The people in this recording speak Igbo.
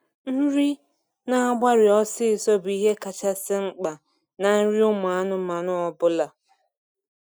Nri n'agbari ọsisọ bụ ihe kachasị mkpa na nri ụmụ anụmanụ ọbụla